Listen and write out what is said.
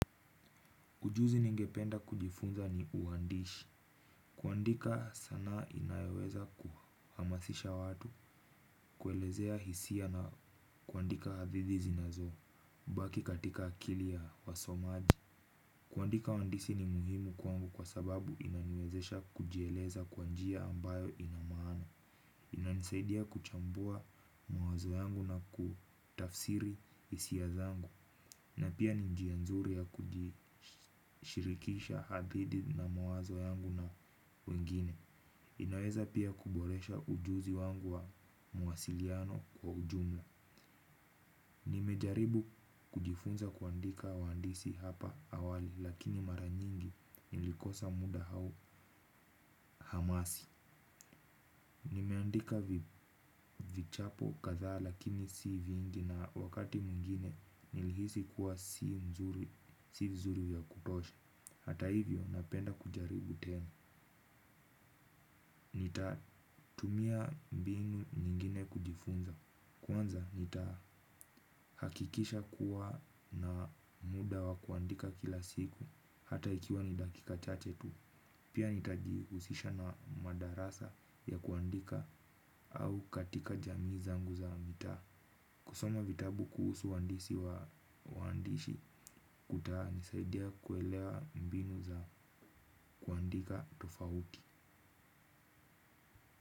Ujuzi ningependa kujifunza ni uandishi. Kuandika sanaa inayoweza kuhamasisha watu, kuelezea hisia na kuandika hadithi zinazobaki katika akili ya wasomaji. Kuandika uandishi ni muhimu kwangu kwa sababu inaniwezesha kujieleza kwa njia ambayo ina maana. Inanisaidia kuchambua mawazo yangu na kutafsiri hisia zangu. Na pia ni njia nzuri ya kujishirikisha akldi na mawazo yangu na wengine. Inaweza pia kuboresha ujuzi wangu wa muwasiliano kwa ujumla. Nimejaribu kujifunza kuandika uandishi hapa awali lakini mara nyingi nilikosa muda au hamasi. Nimeandika vichapo kadhaa lakini si vingi na wakati mwingine nilihisi kuwa si vizuri ya kutosha. Hata hivyo napenda kujaribu tena. Nitatumia mbinu nyingine kujifunza. Kwanza nitahakikisha kuwa na muda wa kuandika kila siku, hata ikiwa ni dakika chache tu. Pia, nitajihusisha na madarasa ya kuandika au katika jamii zangu za mitaa. Kusoma vitabu kuhusu waandisi wa waandishi kutanisaidia kuelewa mbinu za kuandika tofauti.